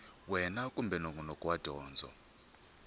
wana kumbe nongonoko wa dyondzo